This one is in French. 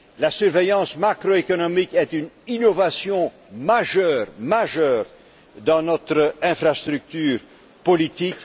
La surveillance macroéconomique est une innovation majeure dans notre infrastructure politique.